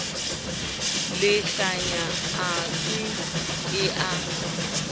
lehlanya a se ke a